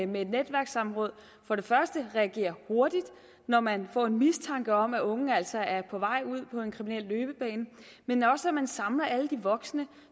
med netværkssamråd for det første reagerer hurtigt når man får en mistanke om at unge altså er på vej ud på en kriminel løbebane men også at man samler alle de voksne